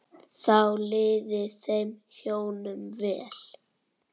Þá liði þeim hjónum vel.